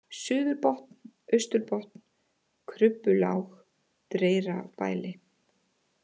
Suðurbotn, Austurbotn, Krubbulág, Dreyrabæli